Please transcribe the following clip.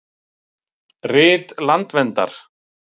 Rit landverndar.